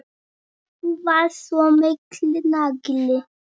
Þú varst svo mikill nagli.